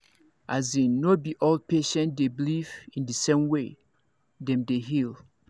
as in no be all patient dey believe in the same way dem dey heal